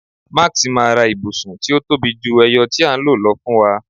Max ma ra ibusun ti o tobi ju eyo ti a n lo lọ fún wa